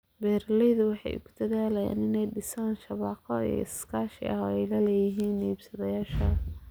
Beeraleydu waxay ku dadaalayaan inay dhisaan shabakado iskaashi oo ay la yeeshaan iibsadayaal.